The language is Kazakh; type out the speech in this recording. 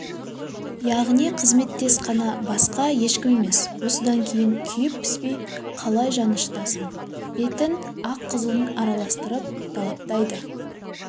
яғни қызметтес қана басқа ешкім емес осыдан кейін күйіп-піспей қалай жаны шыдасын бетін ақ-қызылын араластырып далаптайды